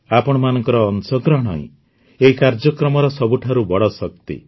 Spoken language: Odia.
ଆପଣମାନଙ୍କ ଅଂଶଗ୍ରହଣ ହିଁ ଏହି କାର୍ଯ୍ୟକ୍ରମର ସବୁଠାରୁ ବଡ଼ ଶକ୍ତି